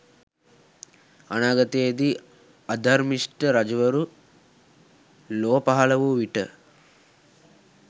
අනාගතයේදී අධර්මිෂ්ට රජවරු ලොව පහල වූ විට